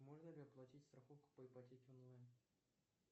можно ли оплатить страховку по ипотеке онлайн